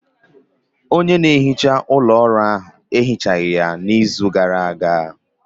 Onye na-ehicha ụlọ ọrụ anyị, ehichaghi ya n'izu gara aga.